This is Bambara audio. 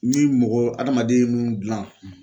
Ni mɔgɔ hadamaden minnu dilan